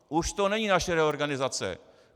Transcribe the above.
Už to není naše reorganizace.